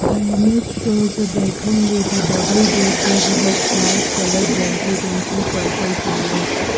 The image shows a bedroom with a double beded heads light colour blanket and two purple pillows.